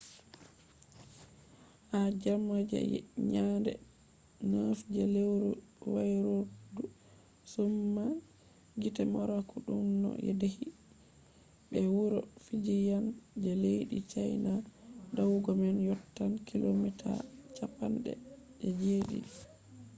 ha jemma je nyande 9 je lewru wairordu sumai gite morakot ɗunno dayi be wuro fujiyan je leddi chaina. dayugo man yottan kilomita cappande je ɗiɗi